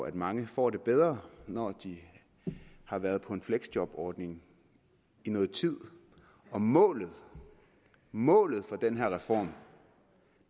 at mange får det bedre når de har været på en fleksjobordning i nogen tid og målet målet for den her reform